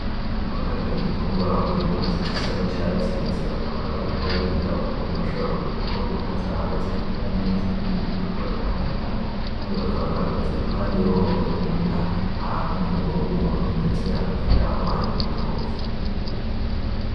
Abaganga b'ibitungwa bambaye impuzu zisa n'icatsi, ndetse bakaba bariko bariga ukuntu bashobora kwitaho inka zabo zikamera neza n'ibindi bitungwa bitandukanye, kandi bakaba bahagaze iruhande y'uruhongore rw'inka ahantu mu rugo rw'umuntu, ndetse hakurya yaho hari n'ibitoke.